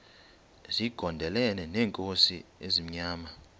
zigondelene neenkosi ezimnyama